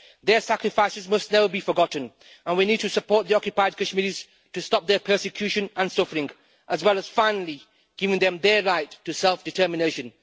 Their sacrifices must never be forgotten and we need to support the occupied Kashmiris to stop their persecution and suffering, as well as finally giving them their right to self-determination.